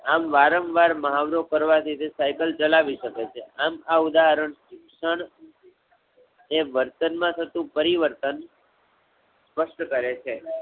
આમ વારંવાર મહાવરો કરવા થી તે સાઇકલ ચલાવી શકે છે. આમ આ ઉદાહરણ, શિક્ષણ, એ વર્તન માં થતું પરિવર્તન સ્પસ્ટ કરે છે.